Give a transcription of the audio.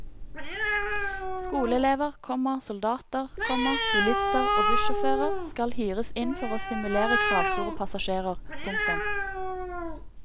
Skoleelever, komma soldater, komma bilister og bussjåfører skal hyres inn for å simulere kravstore passasjerer. punktum